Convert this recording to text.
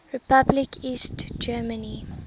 republic east germany